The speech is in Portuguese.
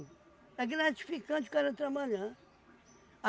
É gratificante o cara trabalhar.